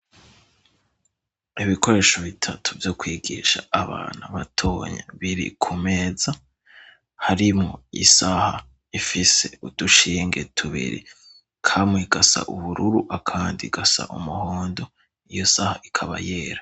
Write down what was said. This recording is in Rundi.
Ibikoresho bitatu vyo kwigisha abana batoya. Biri ku meza harimwo isaha ifise udushinge tubiri, kamwe gasa ubururu akandi gasa umuhondo, iyo saha ikaba yera.